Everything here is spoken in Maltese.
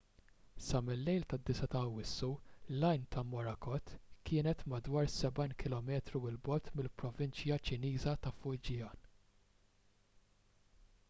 sa mil-lejl tad-9 ta' awwissu l-għajn ta' morakot kienet madwar sebgħin kilometru l bogħod mill-provinċja ċiniża ta' fujian